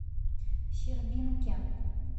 щербинке